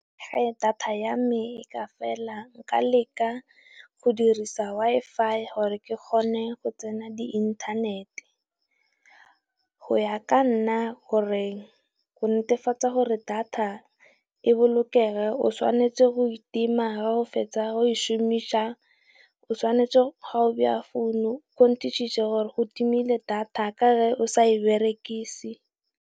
Fa data ya me e ka fela nka leka go dirisa Wifi gore ke kgone go tsena di inthanete. Go ya ka nna go netefatsa gore data e bolokega o tshwanetse go e tima, ga o fetsa go e šomisa, o tshwanetse ga o beya phone netešiše gore go timile data ka ge o sa e berekise.